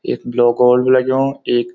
यख block old भी लग्यूं एक।